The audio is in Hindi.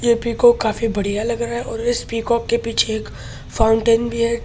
ये पीकोक काफी बड़िया लग रहा है और इस पीकॉक के पीछे एक फ़ाउंटेन भी है ।